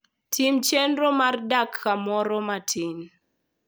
Tim chenro mar dak kamoro matin.